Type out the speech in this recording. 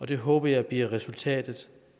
det håber jeg bliver resultatet